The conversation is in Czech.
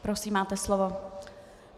Prosím, máte slovo.